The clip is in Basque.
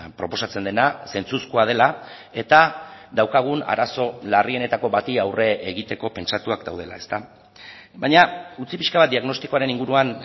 proposatzen dena zentzuzkoa dela eta daukagun arazo larrienetako bati aurre egiteko pentsatuak daudela baina utzi pixka bat diagnostikoaren inguruan